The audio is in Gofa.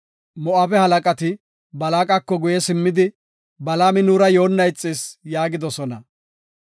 Moo7abe halaqati Balaaqako guye simmidi, “Balaami nuura yoonna ixis” yaagidosona.